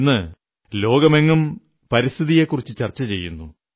ഇന്നു ലോകമെങ്ങും പരിസ്ഥിതിയെക്കുറിച്ചു ചർച്ച ചെയ്യുന്നു